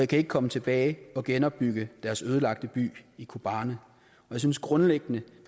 kan komme tilbage og genopbygge deres ødelagte by i kobane jeg synes grundlæggende